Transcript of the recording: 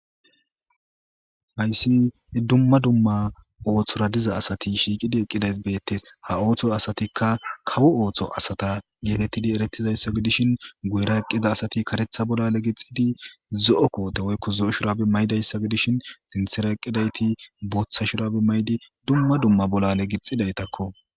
hayssi dumma dumma ooththora diza asati shiiqidi eqqidays beettes ha ooththo asatikka kawo ooththo asata geetettidi erettizayssa gidishin guyera eqqida asati karetha bolla legixidi zo7o koote woykko zo7o shurabe maydayssa gidishin sinthera eqqidayti booththa shurabe maydi dumma dumma bollale gixidaytakko